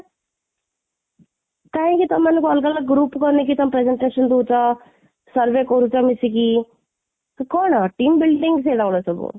କାହିଁକି ତମମାନଙ୍କୁ ଅଲଗା ଅଲଗା group ବନେଇକି ତମ presentation ଦଉଛ, survey କରୁଛ ମିଶିକି, କ'ଣ team building ସେଗୁଡା ସବୁ